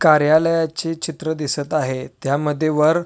कार्यालयाचे चित्र दिसत आहे त्यामध्ये वर --